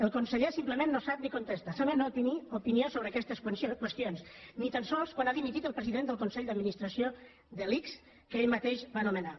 el conseller simplement no sap ni contesta sembla no tenir opinió sobre aquestes qüestions ni tan sols quan ha dimitit el president del consell d’administració de l’ics que ell mateix va nomenar